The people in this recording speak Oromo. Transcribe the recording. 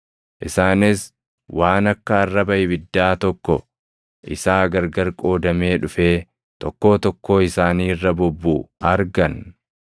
Isaanis waan akka arraba ibiddaa + 2:3 Waan akka arraba ibiddaa – Ibiddi mallattoo argamuu Waaqaa ti; murtii Waaqaa wajjinis ni deema. tokko isaa gargar qoodamee dhufee tokkoo tokkoo isaanii irra bubbuʼu argan.